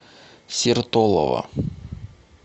сертолово